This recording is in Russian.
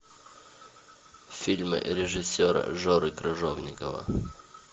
фильмы режиссера жоры крыжовникова